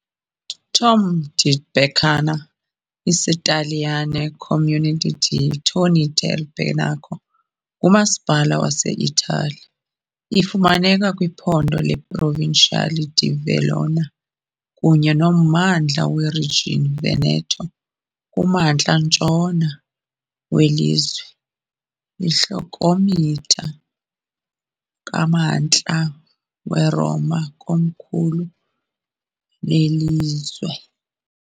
ITorri del Benaco, isiTaliyane, Comune di Torri del Benaco, ngumasipala waseItali. Ifumaneka kwiphondo leProvincia di Verona kunye nommandla weRegion Veneto, kumantla ntshona welizwe, iikhilomitha kumntla weRoma, ikomkhulu lelizwe.